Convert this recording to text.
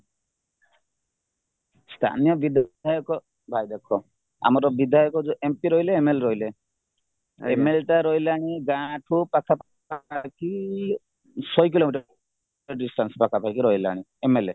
ସ୍ଥାନୀୟ ବିଧାୟକ ଭାଇ ଦେଖ ଆମର ବିଧାୟକ ଯୋଉ mp ରହିଲେ MLA ରହିଲେ ml ରହିଲାଣୀ ଗାଁଠୁ ପାଖପାଖି ଶହେ କିଲୋମିଟର distance ପାଖାପାଖି ରହିଲାନି mla